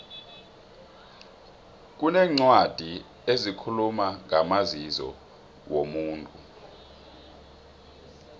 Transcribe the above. kuneencwadi ezikhuluma ngamazizo womuntu